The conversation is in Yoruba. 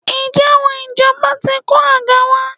Ǹjẹ́ àwọn ìjọba ti kó àga wá?